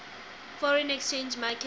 foreign exchange market